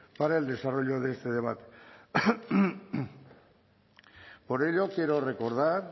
para el desarrollo de este debate por ello quiero recordar